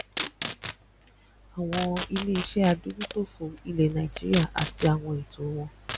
àwọn iléiṣẹ adójútòfò ilẹ nàìjíríà àti àwọn ẹtọ wọn